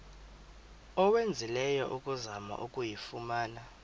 owenzileyo ukuzama ukuyifumana